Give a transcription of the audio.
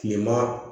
Kilema